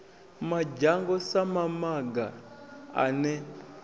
madzhango sa mamaga a ne